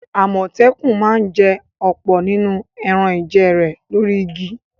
Àmọ̀tẹ́kùn ma ń jẹ ọ̀pọ̀ nínú ẹran-ìjẹ rẹ̀ lórí igi.